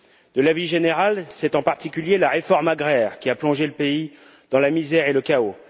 De l'avis général, c'est en particulier la réforme agraire qui a plongé le pays dans la misère et le chaos.